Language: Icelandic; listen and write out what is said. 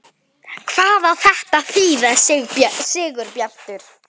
HVAÐ Á ÞETTA AÐ ÞÝÐA, SIGURBJARTUR?